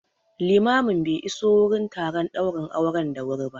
Limamin be iso wurin taron ɗaurin auren da wuri ba